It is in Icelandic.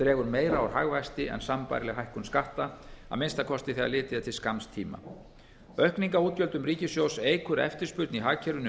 dregur meira úr hagvexti en sambærileg hækkun skatta að minnsta kosti þegar litið er til skamms tíma aukning á útgjöldum ríkissjóðs eykur eftirspurn í hagkerfinu